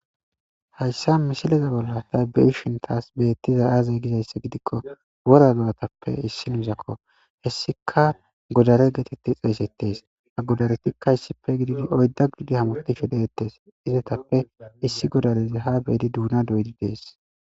Hayssa misileza bolla tabe'ishintaas beettiza aazey gizayssa gidikko wora do'atappe issin misakko hessika godare geetetti xeesettes a godaretikka hissipe gididi oydda gidi hamufdi shi deettes izetappe issi godalezi ha beyidi duuna doydi dees